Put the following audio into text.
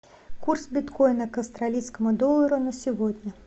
курс биткоина к австралийскому доллару на сегодня